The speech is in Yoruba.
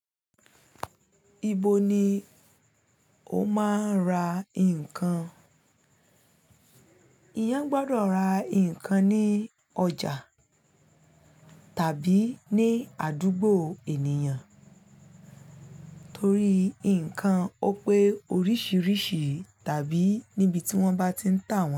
Ibo ni o máa ń ra nǹkan? Eeyán gbọdọ̀ ra nǹkan ní ọjà tàbí ní àdúgbò ènìyàn torí nǹkan ó pé oríṣiríṣi tàbí níbi tí wọ́n bá ti ń tà wọ́n.